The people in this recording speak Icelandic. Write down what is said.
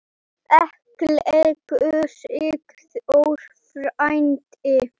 Elsku Sigþór frændi.